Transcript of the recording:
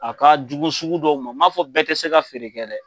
A ka jugu sugu dɔw ma n man fɔ bɛɛ tɛ se ka feere kɛ dɛ.